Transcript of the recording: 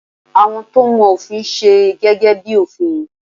Àwọn to mọ òfin n se gẹ́gẹ́ bi òfin